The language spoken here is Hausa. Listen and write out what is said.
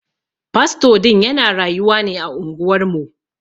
Fasto din ya na rayuwa ne a unguwar mu.